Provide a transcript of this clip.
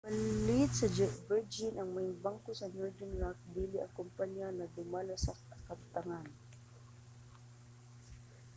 gipalit ra sa virgin ang 'maayong bangko' sa northern rock dili ang kompanyang nagdumala sa kabtangan